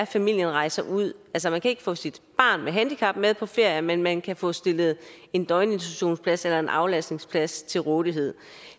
familien rejser ud man kan ikke få sit barn med handicap med på ferie men man kan få stillet en døgninstitutionsplads eller en aflastningsplads til rådighed